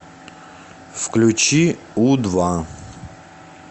включи у два